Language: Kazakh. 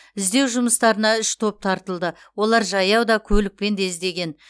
іздеу жұмыстарына үш топ тартылды олар жаяу да көлікпен де іздеген